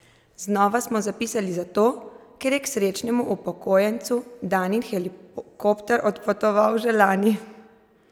Znova smo zapisali zato, ker je k srečnemu upokojencu Danin hektoliter odpotoval že lani!